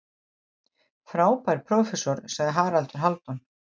Frábær prófessor, sagði Haraldur Hálfdán.